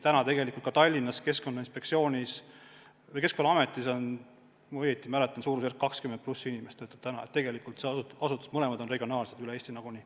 Tallinnas Keskkonnaametis on, kui ma õigesti mäletan, suurusjärgus 20+ inimest tööl, mõlemad asutused tegutsevad regionaalselt üle Eesti nagunii.